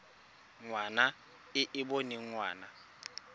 ngwana e e boneng ngwana